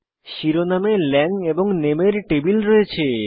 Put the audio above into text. শিরোনামে ল্যাং এবং নামে এর টেবিল রয়েছে